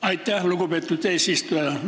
Aitäh, lugupeetud eesistuja!